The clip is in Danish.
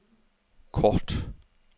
kort